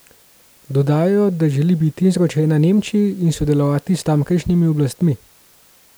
Dodajajo, da želi biti izročena Nemčiji in sodelovati s tamkajšnjimi oblastmi.